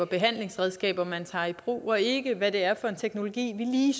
behandlingsredskaber man tager i brug og ikke hvad det er for en teknologi vi lige